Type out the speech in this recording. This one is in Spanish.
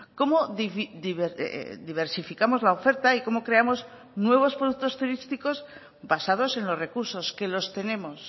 cómo diversificamos la oferta y cómo creamos nuevos productos turísticos basados en los recursos que los tenemos